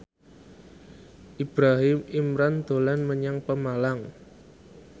Ibrahim Imran dolan menyang Pemalang